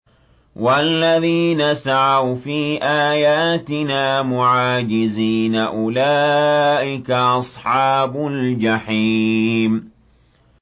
وَالَّذِينَ سَعَوْا فِي آيَاتِنَا مُعَاجِزِينَ أُولَٰئِكَ أَصْحَابُ الْجَحِيمِ